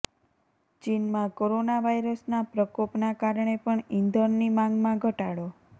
ચીનમાં કોરોના વાયરસનાં પ્રકોપનાં કારણે પણ ઈંધણની માંગમાં ઘટાડો